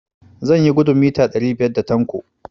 Zan yi gudun mita ɗari biyar da Tanko.